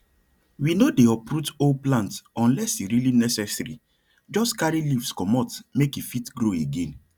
we no dey uproot whole plant unless e really necessaryjust carry leaves comot make e fit grow again